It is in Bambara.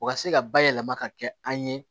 O ka se ka bayɛlɛma ka kɛ an ye